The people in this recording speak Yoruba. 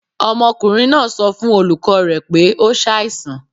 Ọmọkunrin naa sọ fun olukọ rẹ pe o ṣaisan